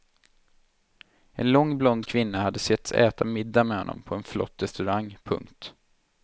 En lång blond kvinna hade setts äta middag med honom på en flott restaurang. punkt